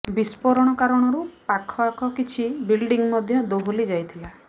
ବିସ୍ଫୋରଣ କାରଣରୁ ପାଖଆଖ କିଛି ବିଲ୍ଡିଂ ମଧ୍ୟ ଦୋହଲି ଯାଇଥିଲା